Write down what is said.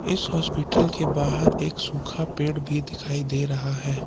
इस अस्पताल के बाहर एक सूखा पेड़ भी दिखाई दे रहा है।